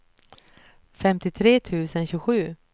femtiotre tusen tjugosju